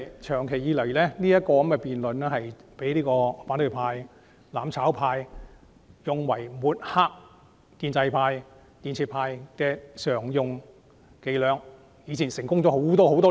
長久以來，財政預算案的辯論常被反對派、"攬炒派"用作抹黑建制派、建設派，他們的伎倆已經成功多年。